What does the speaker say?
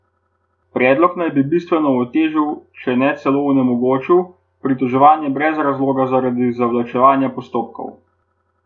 Predlog naj bi bistveno otežil, če ne celo onemogočil, pritoževanje brez razloga zaradi zavlačevanja postopkov.